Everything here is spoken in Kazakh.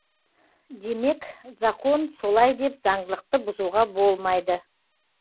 демек закон солай деп заңдылықты бұзуға болмайды